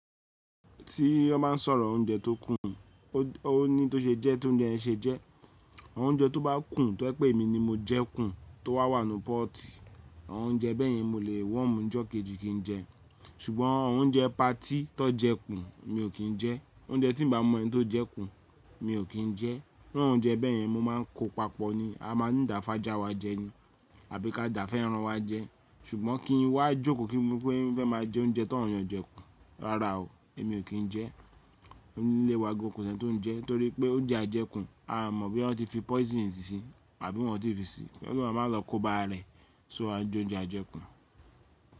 Tí wọ́n bá n sọ̀rọ̀ ọ̀unjẹ tó kún, ó ní tó ṣe jẹ́ tóunjẹ yẹ́n ṣe jẹ́. Òunjẹ tó bá kún tó ẹ̀ pé èmi ni mo jẹ kún tó wà wà nù pọ́ọ́tì, ọ̀unjẹ bẹ́yẹn mo lè wọ̀mú e ijọ́ kejì kí n jẹ. Ṣùgbọ́n ọ̀unjẹ patí tó jẹ́ kún mi ò kí n jẹ́. Òunjẹ tí n ba mọ ẹni tó jẹ́ kún mi ò kí n jẹ́. Òunjẹ bẹ́yẹn mo má n kó papọ̀ ni, a má n dà fàjá wa jẹ ni, àbí ká dà fẹ́ràn wa jẹ́. Ṣùgbọ́n kí n wá jókòó kí ní pé mo fe máa jẹ ọ̀unjẹ tawọ̀n eeyan jẹ́ kù, rárá o, èmi ò kí n jẹ́. Ní ilé wa gan kò sí ẹni tó n jẹ, torí pé oúnjẹ ajẹ́kù a mọ̀ bí wọn ti fi poison síi síi, àbí wọn ti fi síí. Keeyan má lọ kóba rẹ̀, so a n jẹ oúnjẹ ajẹ́ kún.